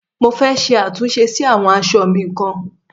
Mo fẹ́ ṣe àtúnṣe sí àwọn aṣọ ọ̀ mi kan.